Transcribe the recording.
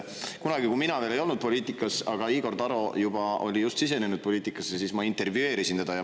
Kunagi, kui mina veel ei olnud poliitikas, aga Igor Taro juba oli just sisenenud poliitikasse, siis ma intervjueerisin teda.